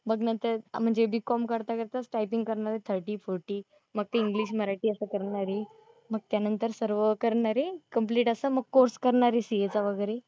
म्हणजे B. Com करता करता टायपिंग करणारे थर्टी, फोर्टी मग ते एइंग्लिश मराठी असं करणारे, मग त्यानंतर सर्व करणारे कंप्लेंट असं मग कोर्स करणारे CA चा वगैरे.